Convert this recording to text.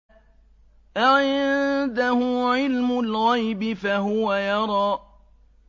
أَعِندَهُ عِلْمُ الْغَيْبِ فَهُوَ يَرَىٰ